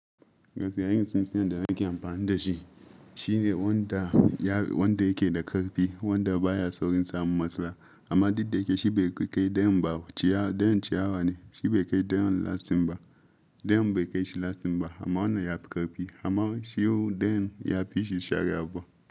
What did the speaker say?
Gaskiya, irin tsintsiyan da nake amfani da shi shine wanda yake da ƙarfi, wanda baya saurin samun matsala. Amma duk da yake shi bai kai dayan ciyawa ne, shi bai kai dayan lasting ba. Dayan bai kai shi lasting ba, amma wannan yafi ƙarfi. Amma shi dayan yafi shi share abu.